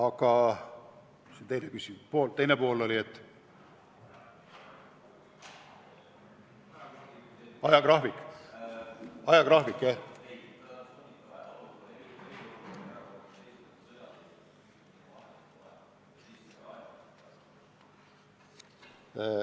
Kas küsimuse teine pool oli ajagraafiku kohta?